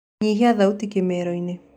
nyĩhĩa thaũtĩ kimero-ini